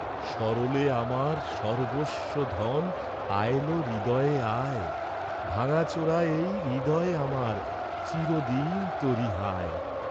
সরলে আমার, সর্ব্বস্ব ধন, আয়লো, হৃদয়ে আয়, ভাঙ্গা চোরা এই হৃদয় আমার চিরদিন তোরি, হায়!